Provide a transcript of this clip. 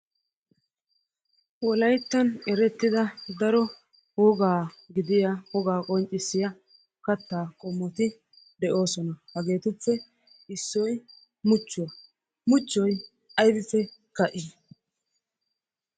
Wolayttan erettida daro wogaa gidiya qonccissiya kattaa qommoti de'oosona. Hageetuppe issoy muchchuwa. Muchchoy aybippe ka'ii?